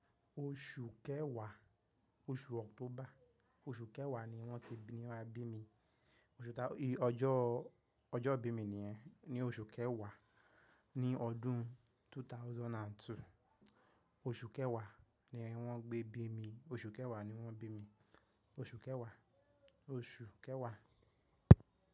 Osu kewa, osu October, osu kewa ni won ti bi mi, no won maa bi mi ọjọ́, ọjọ́ bí mi nìyẹn, ní oṣù Kẹwàá ní ọdún 2002. Oṣù Kẹwàá ni wọ́n gbé bí mi, oṣù Kẹwàá ni wọ́n bí mi, oṣù Kẹwàá, oṣù Kẹwàá.